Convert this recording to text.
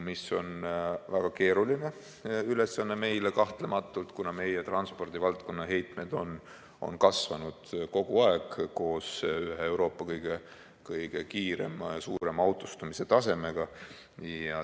See on väga keeruline ülesanne meile kahtlematult, kuna meie transpordivaldkonna heitmed on kasvanud kogu aeg koos ühe Euroopa kõige kiirema ja suurema autostumise tasemega.